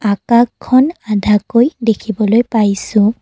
আকাকখন আধাকৈ দেখিবলৈ পাইছোঁ।